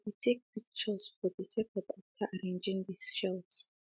he be take picture for de setup after arranging de shelves